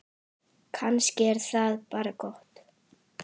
Kannski er það bara gott.